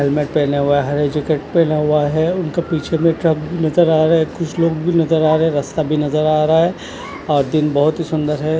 Helmet पहना हुआ है जैकेट पहना हुआ है उनके पीछे में ट्रक नज़र आ रहा है कुछ लोग भी नज़र आ रहे है रास्ता भी नज़र आ रहा है आज दिन बहुत ही सुन्दर है।